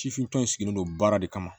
Sifinnaka in sigilen don baara de kama